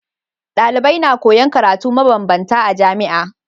Dalibai na koyan karatu ma banbanta a jamia